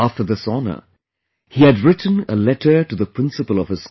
After this honor, he had written a letter to the principal of his school